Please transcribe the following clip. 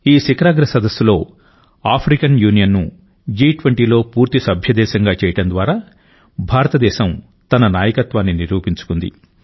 ఈ శిఖరాగ్ర సదస్సులో ఆఫ్రికన్ యూనియన్ను జి20లో పూర్తి సభ్యదేశంగా చేయడం ద్వారా భారతదేశం తన నాయకత్వాన్ని నిరూపించుకుంది